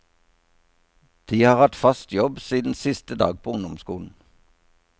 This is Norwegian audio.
De har hatt fast jobb siden siste dag på ungdomsskolen.